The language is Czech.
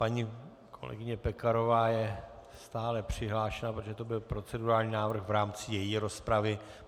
Paní kolegyně Pekarová je stále přihlášena, protože to byl procedurální návrh v rámci její rozpravy.